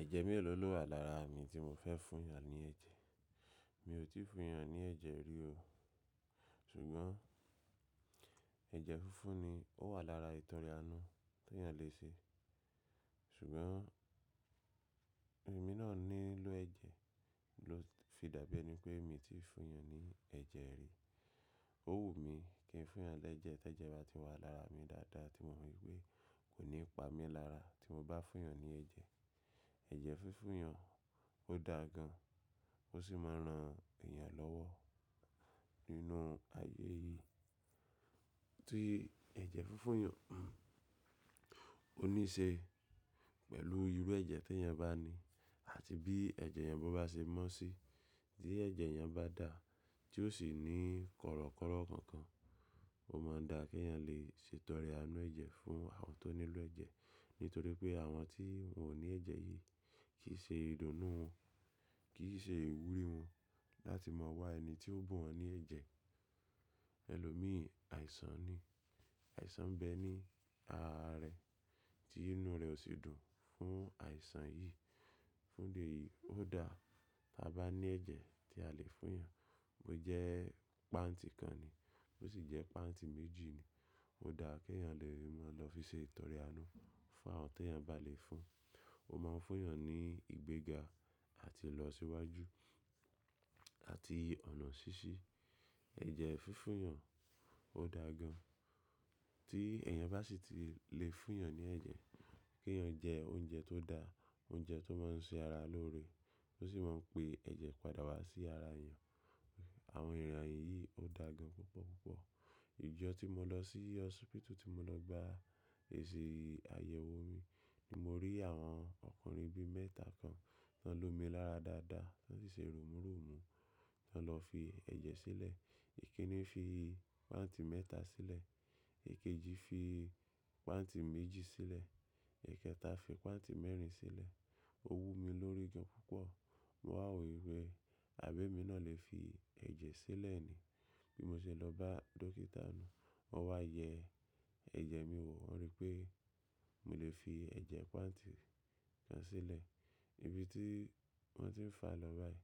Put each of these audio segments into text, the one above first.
Ẹ̀jẹ̀ méèló ló wà lára mi tí mo fẹ́ fún yàn ní ẹ̀jẹ̀? Mi ò tí fún èèyàn ní ẹ̀jẹ̀ rí o. Ṣùgbọ́n ẹ̀jẹ̀ fúnfún ni ó wà lára ìtọrẹ anú tí èèyàn lè ṣe. Ṣùgbọ́n èmi náà nílò ẹ̀jẹ̀ ló fi dàbí ẹni pé mi ti fún èèyàn ní ẹ̀jẹ̀ rí. Ó wù mí kí n fún yàn lẹ́jẹ̀ tí ẹ̀jẹ̀ bá ti wà lára mi dáadáa tí mò ń rí pé kò ní pa mí lára tí mo bá fún èèyàn ní ẹ̀jẹ̀. Ẹ̀jẹ̀ fúnfún yàn ó da gan, ó sì máa ran èèyàn lọ́wọ́ nínú ayé yìí. Tí ẹ̀jẹ̀ fúnfún yàn, òníṣe pẹ̀lú irú ẹ̀jẹ̀ tí èèyàn bá ní àti bí ẹ̀jẹ̀ yẹn bo bá ṣe mọ́ sí. Tí ẹ̀jẹ̀ yẹn bá dà, tí ó sì ní korokọ́rọ́ kankan, ó máa n dà kí èèyàn lè ṣe ìtọrẹ anú ẹ̀jẹ̀ fún àwọn tó nílò ẹ̀jẹ̀. Nítorí pé àwọn tí wọ́n ò ní ẹ̀jẹ̀ yìí kì í ṣe ìdùnnú wọn, kì í ṣe ìwúrí wọn láti mọ̀ wá ẹni tí ó bùn wọ́n ní ẹ̀jẹ̀. Ẹ̀lòmíì àìsàn ni, àìsàn bẹ ni ara rẹ̀ tí inú rẹ̀ ò sì dùn fún àìsàn yìí. Fún di eyìí ó dà tí a bá ní ẹ̀jẹ̀ tí a lè fún èèyàn. Ó jẹ́ páǹtì kan ni, ó sì jẹ́ páǹtì méjì ni. Ó dà kí èèyàn lè ríi mọ́ lọ fi ṣe ìtọrẹ anú fún àwọn tèèyàn bá lè fún. Ó máa ń fún èèyàn ní ìgbéga àti ìlọsíwájú àti ọ̀nà ṣíṣí. Ẹ̀jẹ̀ fúnfún yàn ó dà gan. Tí èèyàn bá sì tí lè fún èèyàn ní ẹ̀jẹ̀, kí èèyàn jẹ oúnjẹ tó dà, oúnjẹ tó máa ń ṣe ara lóore, tó sì máa ń pe ẹ̀jẹ̀ padà wá sí ara èèyàn. Àwọn ìràn yìí ó dà gan púpọ̀ púpọ̀. Ìjọ tí mo lọ sí hósípítù tí mo lọ gba èsì àyẹ̀wò mi ni mo rí àwọn ọkùnrin bi mẹ́ta kan tó lomi lára dáadáa, tó sì ṣe rumú rumú tan lọ fi ẹ̀jẹ̀ sílẹ̀. Èkinni fi páǹtì mẹ́ta sílẹ̀, èkejì fi páǹtì méjì sílẹ̀, èkẹta fi páǹtì mẹ́rin sílẹ̀. Ó wú mi lórí gan púpọ̀. Mo wà rò wí pé àbí èmi náà lè fi ẹ̀jẹ̀ sílẹ̀ ni. Bí mo ṣe lọ bá dókítà nù, wọ́n wá yẹ ẹ̀jẹ̀ mi wò, wọ́n rí pé mo lè fi ẹ̀jẹ̀ páǹtì kan sílẹ̀. Ibi tí wọ́n ti ń fà lọ báyìí,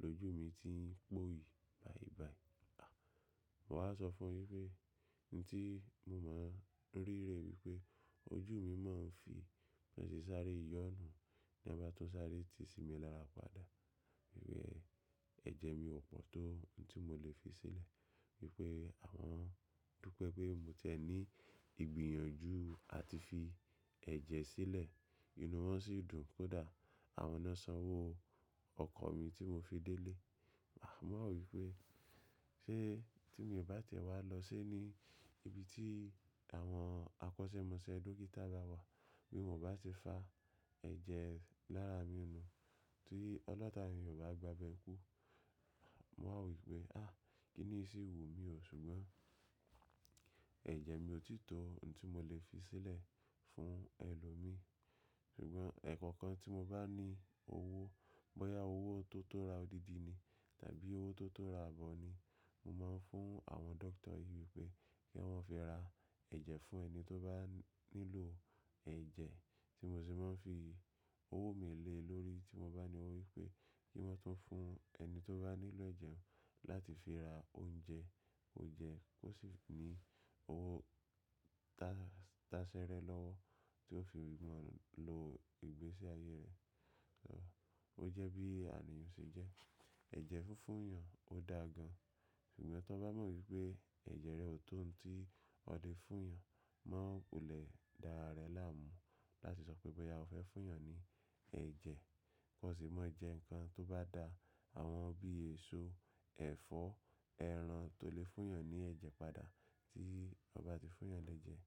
lójú mi ti ń pòyi báyìí báyìí. Mo wá sọ fún yín pé ohun tí mo máa ń rí rè wípé ojú mi máa ń fi bọ́n se sáre yọ́nú na ba tun sáré ti sí mi lára padà. Rí pé ẹ̀jẹ̀ mi ò pọ̀ tó n tí mo lè fi sílẹ̀. Wí pé àwọn dúpẹ́ pé mo ti ẹ ní ìgbìyànjú àti fi ẹ̀jẹ̀ sílẹ̀. Inú wọn sì dùn kó dà. Àwọn náà sanwó ọkọ̀ mi tí mo fi délé. Mo wà rò wí pé ṣé tí mi ò bá ti ẹ̀ wá lọ sé ní ibi tí àwọn àkọ́sẹ́mọsẹ́ dókítà bá wà, bí wọn bá ti fà ẹ̀jẹ̀ lára mi nù, tí ọlọ̀tà yẹn ò bá gbàbẹ́ kú. Mo wà rò wí pé, kí ni yii ṣi wu mi ò. Ṣùgbọ́n ẹ̀jẹ̀ mi ò tí tó n tí mo lè fi sílẹ̀ fún ẹlòmíì. Ṣùgbọ́n ẹ̀ẹ̀kokan tí mo bá ní owó, bóyá owó tó tó ra odidi ni tàbí owó tó tó ra abọ ní, mo máa ń fún àwọn dókítà yìí wípé kí wọ́n fi ra ẹ̀jẹ̀ fún ẹni tó bá nílò ẹ̀jẹ̀ tí mo sì máa ń fi owó mi lé lórí tí mo bá ní owó wípé kí wọ́n tún fún ẹni tó bá nílò ẹ̀jẹ̀ láti fi ra oúnjẹ ó jẹ́ kó sì ní owó tasẹ́rẹ́ lọ́wọ́ tí ó fi ògùn lọ ìgbésí ayé rẹ̀. O jẹ́ bí àníyàn ṣe jẹ́. Ẹ̀jẹ̀ fúnfún yàn ó dà gan. Ṣùgbọ́n tó bá mọ wípé ẹ̀jẹ̀ rẹ ò tó ohun tí ọ lè fún èèyàn, má ku lè dá ara rẹ láàmú láti sọ pé bóyá o fẹ́ fún èèyàn ní ẹ̀jẹ̀. Kò sì máa jẹ́ nǹkan tó bá dà àwọn bí èso, ẹ̀fọ́, ẹran tó lè fún èèyàn ní ẹ̀jẹ̀ padà tí ọ bá ti fún èèyàn lẹ́jẹ̀.